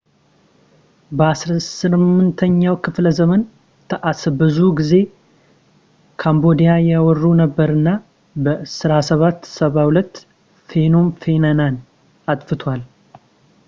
በ 18ኛው ክፍለዘመን ታኢስ ብዙ ጊዜ ካምቦዲያን ይወሩ ነበር እና በ 1772 ፌኖም ፌነንን አጥፍተዋል